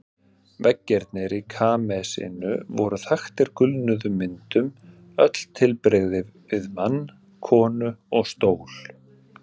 Veggirnir í kamesinu voru þaktir gulnuðum myndum, öll tilbrigði við mann, konu og stól.